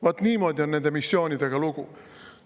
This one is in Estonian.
Vaat niimoodi on nende missioonidega lugu.